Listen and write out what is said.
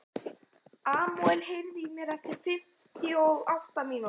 Emmanúel, heyrðu í mér eftir fimmtíu og átta mínútur.